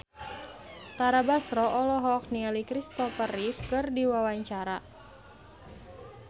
Tara Basro olohok ningali Kristopher Reeve keur diwawancara